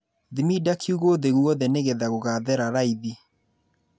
Thimida kiugũ thĩ gwothe nĩgetha gũgathera raithi.